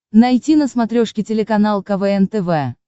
найти на смотрешке телеканал квн тв